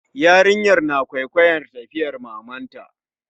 Yarinyar na kwaikwayar tafiyar mamanta